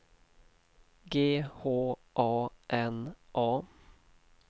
G H A N A